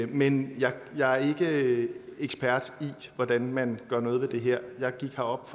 men jeg er ikke ekspert i hvordan man gør noget ved det her jeg gik herop